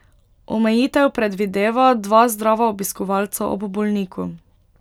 Omejitev predvideva dva zdrava obiskovalca ob bolniku.